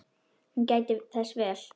Hún gætti þess vel.